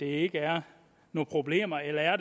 ikke er nogen problemer eller er